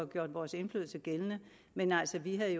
gjort vores indflydelse gældende men altså vi havde